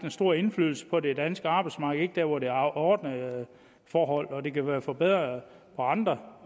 store indflydelse på det danske arbejdsmarked ikke der hvor der er ordnede forhold og det kan være blevet forbedret på andre